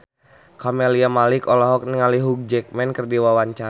Camelia Malik olohok ningali Hugh Jackman keur diwawancara